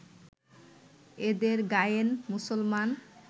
এঁদের গায়েন মুসলমান